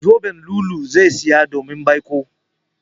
Zoben lu'ulu'u zai zaya domin baiko.